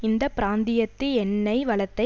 இந்த பிராந்தியத்து எண்ணெய் வளத்தை